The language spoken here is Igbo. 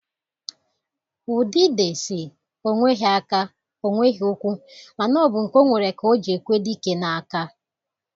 Udide si, onweghi aka, onweghi ụkwụ ma na obu nke onwere ka oji ekwe dike na-aka.